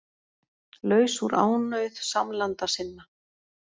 Laus úr ánauð samlanda sinna